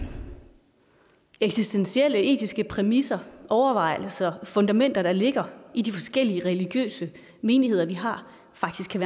eksistentielle etiske præmisser overvejelser fundamenter der ligger i de forskellige religiøse menigheder vi har faktisk kan